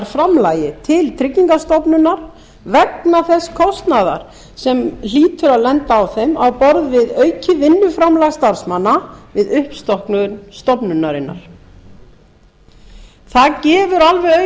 viðbótarframlagi til tryggingastofnunar vegna þess kostnaðar sem hlýtur að lenda á þeim á borð við aukið vinnuframlag starfsmanna við uppstokkun stofnunarinnar það gefur alveg auga